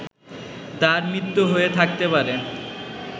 তার মৃত্যু হয়ে থাকতে পারে